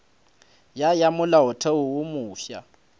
ya ya molaotheo wo mofsa